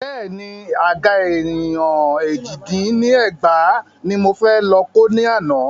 Bẹ́ẹ̀ni, Àga èèyàn èjì dín ní ẹgbàá ní mo fẹ́ lọ kó ni àná.